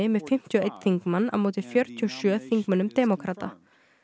með fimmtíu og einn þingmann á móti fjörutíu og sjö þingmönnum demókrata